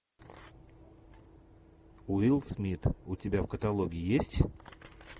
уилл смит у тебя в каталоге есть